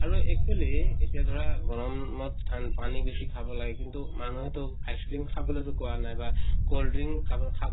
আৰু actually এতিয়া ধৰা গৰমত ঠান্ পানী বেছি খাব লাগে। কিন্তু মানুহেটো ice cream খাবলে টো কোৱা নাই বা cold drink খাব খা